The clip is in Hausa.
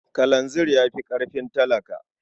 Kalanzir ya fi ƙarfin talaka.